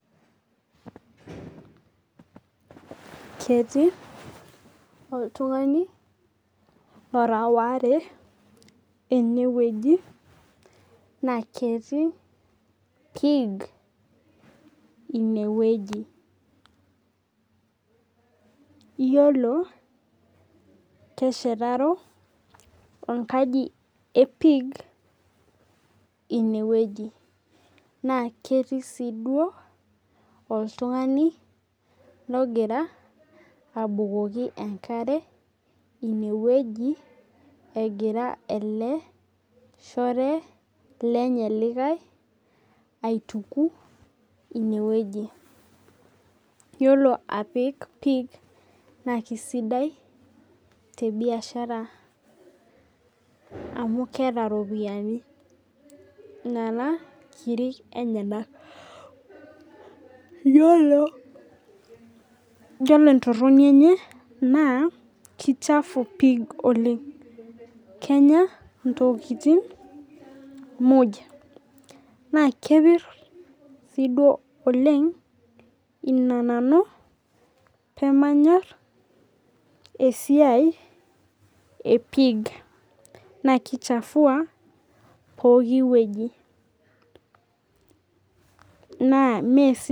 Ketii oltung'ani lora ware eneweji naa ketii pig ineweji. Iyiolo keshetaro enkaji ee pig ineweji naa ketii sii duo oltung'ani logira abukoki enkare ineweji egira ele shore lenye likae aituku ineweji. Iyiolo apik pig naa kisidai tee biashara amuu keeta iropiani nena kiri enyenak. Iyiolo entoroni enye naa kii chafu pig oleng'. Kenya intokitin muj na kepir sii duo oleng' naa ina nanu pee manyor eisia ee pig naa kii chafua pookin weji naa mesid